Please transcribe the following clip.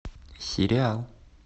сериал